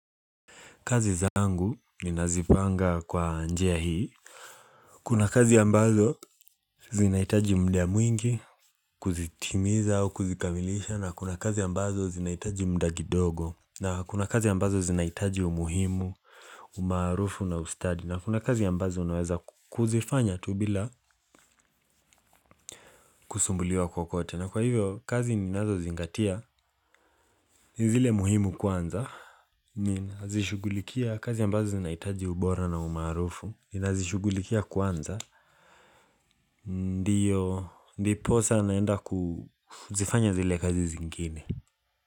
Kazi zangu ninazipanga kwa njia hii. Kuna kazi ambazo zinahitaji muda mwingi kuzitimiza au kuzikamilisha na kuna kazi ambazo zinahitaji muda kidogo na kuna kazi ambazo zinahitaji umuhimu, umaarufu na ustadi na kuna kazi ambazo unaweza kuzifanya tu bila kusumbuliwa kokote na kwa hivyo kazi ninazozingatia ni zile muhimu kwanza. Ninazishughulikia kazi ambazo zinahitaji ubora na umaarufu ninazishughulikia kwanza Ndiyo, ndiposa naenda kuzifanya zile kazi zingine.